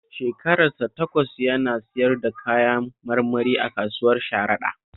Shekarar sa takwas yana siyar da kayan marmari a kasuwar Sharaɗa